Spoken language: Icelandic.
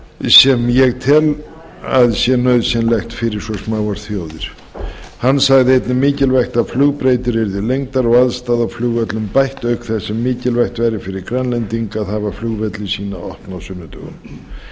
sem ég tel að sé nauðsynlegt fyrir svo smáar þjóðir hann sagði einnig mikilvægt að flugbrautir yrðu lengdar og aðstaða á flugvöllum bætt auk þess sem mikilvægt væri fyrir grænlendinga að hafa flugvelli sína opna á sunnudögum